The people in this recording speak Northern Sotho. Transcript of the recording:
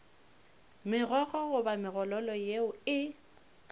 megokgo goba megololo yeo e